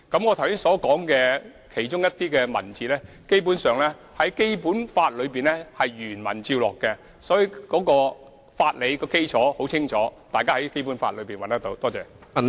其實，我剛才提述的某些文字，基本上是從《基本法》原文照錄，所以相關的法理基礎已很清楚，大家可以在《基本法》中找到。